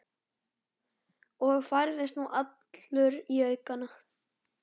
Og færðist nú allur í aukana.